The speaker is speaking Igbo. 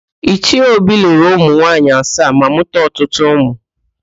Ichie Obi lụrụ ụmụ nwaanyị asaa ma mụkwa ọtụtụ ụmụ.